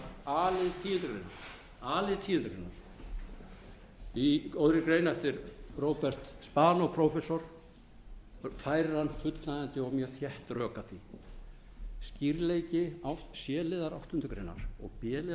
að a lið tíundu greinar í góðri grein eftir robert spanó prófessor færir hann fullnægjandi og mjög þétt rök að því skýrleiki c liðar áttundu greinar og b liðar tíundu greinar sem hér er